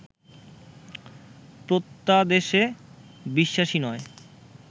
প্রত্যাদেশে বিশ্বাসী নয়